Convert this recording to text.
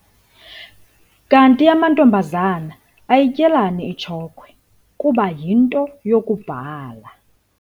Kanti amantombazana ayityelani itshokhwe kuba yinto yokubhala?